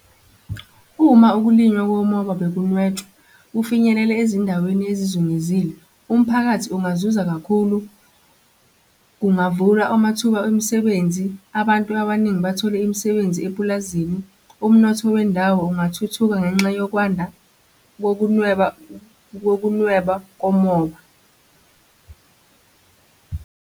Uma ukulinywa komoba bekunwetshwa kufinyelele ezindaweni ezizungezile, umphakathi ungazuza kakhulu, kungavulwa amathuba emisebenzi, abantu abaningi bathole imisebenzi epulazini. Umnotho wendawo ungathuthuka ngenxa yokwanda kokunweba, kokunweba komoba.